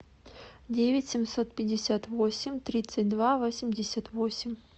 девять семьсот пятьдесят восемь тридцать два восемьдесят восемь